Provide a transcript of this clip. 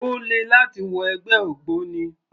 Ó le láti wọ ẹgbẹ́ ògbóni